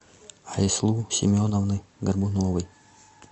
айслу семеновны горбуновой